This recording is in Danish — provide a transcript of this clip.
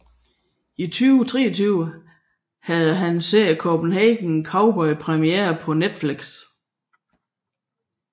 I 2023 havde hans serie Copenhagen Cowboy premiere på Netflix